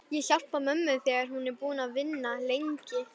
Ég hjálpa mömmu þegar hún er búin að vinna lengi.